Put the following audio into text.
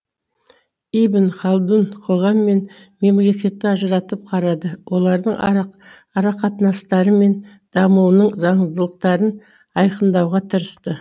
ибн халдун қоғам мен мемлекетті ажыратып қарады олардың арақатынастары мен дамуының заңдылықтарын айқыңдауға тырысты